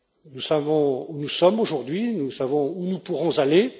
Nous savons où nous sommes aujourd'hui et nous savons où nous pourrons aller.